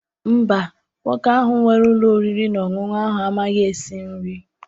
Mba, nwoke ahụ nwere ụlọ oriri na ọṅụṅụ ahụ amaghị esi nri.